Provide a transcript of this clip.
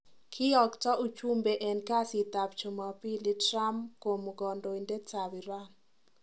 Kiyokto uchumbe enkasit ab chumapili Trump komu kandoindet ab Iran